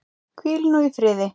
Hvíl nú í friði.